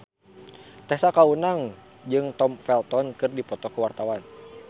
Tessa Kaunang jeung Tom Felton keur dipoto ku wartawan